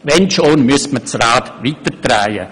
Wenn schon, müsste man das Rad weiterdrehen.